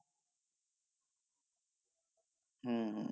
হম হম